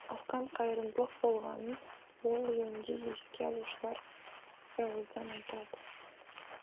асқан қайырымдылық болғанын ол жөнінде еске алушылар бірауыздан айтады